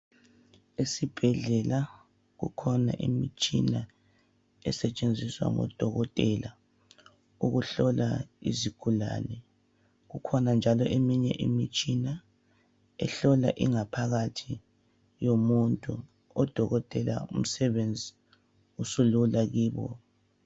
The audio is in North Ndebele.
Esibhedlela kukhona imitshina esetshenziswa ngodokotela ukuhlola izigulane kukhona njalo eminye imitshina ehlola ingaphakathi yomuntu odokotela umsebenzi usulula kibo.